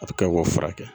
A bɛ kɛ k'o furakɛ